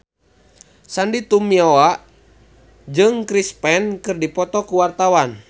Sandy Tumiwa jeung Chris Pane keur dipoto ku wartawan